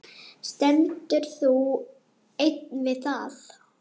Stendur þú enn við það?